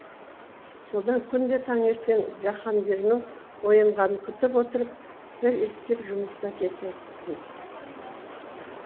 содан күнде таңертең жаһангирінің оянғанын күтіп отырып бір иіскеп жұмысына кететін